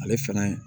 Ale fɛnɛ